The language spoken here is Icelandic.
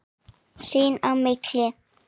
Sín á milli.